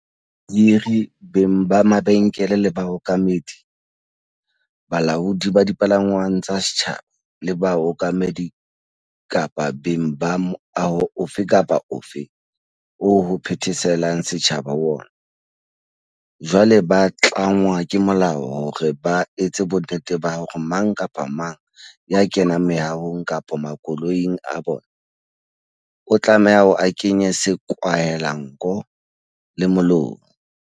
Bahiri, beng ba mabenkele le baokamedi, balaodi ba dipalangwang tsa setjhaba, le baokamedi kapa beng ba moaho ofe kapa ofe oo ho phetheselang setjhaba ho ona, jwale ba tlangwa ke molao hore ba etse bonnete ba hore mang kapa mang ya kenang meahong kapa makoloing a bona, o tlameha ho kenya sekwahelanko le molomo.